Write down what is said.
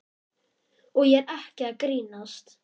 Og ég er ekki að grínast.